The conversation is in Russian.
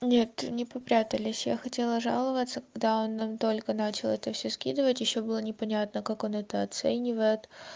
нет не попрятались я хотела жаловаться когда он нам только начал это все скидывать ещё было непонятно как он это оценивает